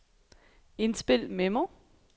indspil memo